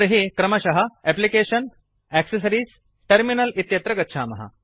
तर्हि क्रमशः एप्लिकेशन्ग्टैक्सेस इत्यत्र गच्छामः